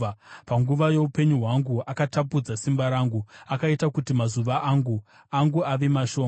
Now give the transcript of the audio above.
Panguva youpenyu hwangu akatapudza simba rangu; akaita kuti mazuva angu ave mashoma.